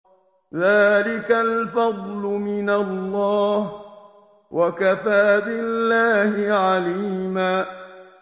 ذَٰلِكَ الْفَضْلُ مِنَ اللَّهِ ۚ وَكَفَىٰ بِاللَّهِ عَلِيمًا